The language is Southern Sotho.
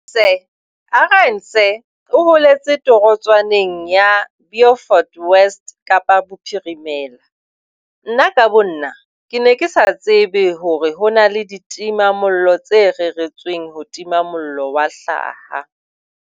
Arendse o holetse torotswaneng ya Beaufort West Kapa Bophirimela. Nna ka bonna, ke ne ke sa tsebe hore ho na le ditimamollo tse reretsweng ho tima mollo wa hlaha.